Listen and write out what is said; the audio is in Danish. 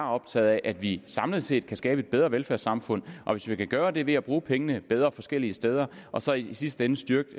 optaget af at vi samlet set kan skabe et bedre velfærdssamfund og hvis vi kan gøre det ved at bruge pengene bedre forskellige steder og så i sidste ende styrke